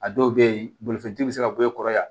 A dɔw bɛ yen bolifɛntigi bɛ se ka bɔ e kɔrɔ yan